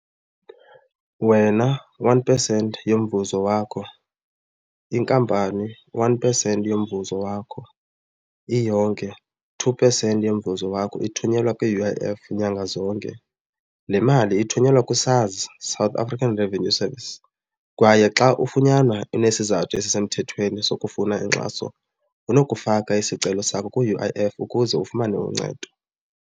Wena one percent yomvuzo wakho, inkampani one percent yomvuzo wakho, iyonke two percent yomvuzo wakho ithunyelwa kwi-U_I_F nyanga zonke. Le mali ithunyelwa ku-SARS, South African Revenue Services kwaye xa ufunyanwa unesizathu esisemthethweni sokufuna inkxaso unokufaka isicelo sakho ku-U_I_F ukuze ufumane uncedo.